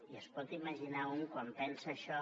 i es pot imaginar que un quan pensa això